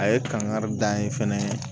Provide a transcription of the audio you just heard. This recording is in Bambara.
A ye kangari da n ye fɛnɛ